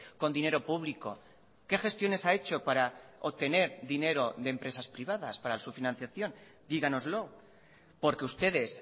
con dinero público qué gestiones ha hecho para obtener dinero de empresas privadas para su financiación díganoslo porque ustedes